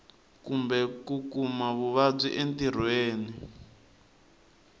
kumbe ku kuma vuvabyi entirhweni